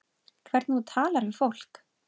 Hvernig þú talar við fólk.